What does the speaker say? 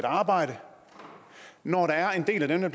arbejde når der er en del af dem der